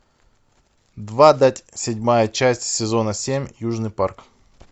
двадцать седьмая часть сезона семь южный парк